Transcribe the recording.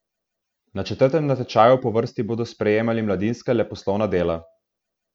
Na četrtem natečaju po vrsti bodo sprejemali mladinska leposlovna dela.